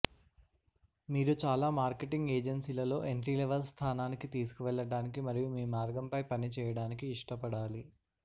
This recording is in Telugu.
మీరు చాలా మార్కెటింగ్ ఏజెన్సీలలో ఎంట్రీ లెవల్ స్థానానికి తీసుకువెళ్ళటానికి మరియు మీ మార్గం పై పని చేయడానికి ఇష్టపడాలి